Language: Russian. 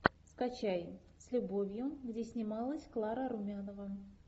скачай с любовью где снималась клара румянова